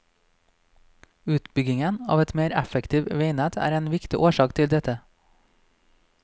Utbyggingen av et mer effektivt veinett er en viktig årsak til dette.